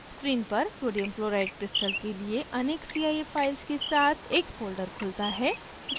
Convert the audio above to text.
screen पर sodium chloride crystal के लिए अनेक cif files के साथ एक folder खुलता है